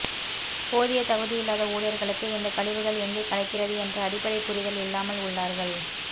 போதிய தகுதியில்லாத ஊழியர்களுக்கு இந்த கழிவுகள் எங்கே கலக்கிறது என்ற அடிப்படை புரிதல் இல்லமால் உள்ளார்கள்